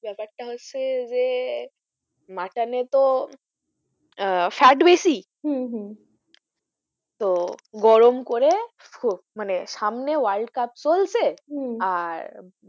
ব্যাপারটা হচ্ছে যে mutton এ তো আহ fat বেশি হম হম তো গরম করে মানে সামনে world cup চলছে হম আর,